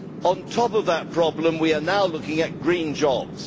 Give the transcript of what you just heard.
On top of that problem we are now looking at green jobs.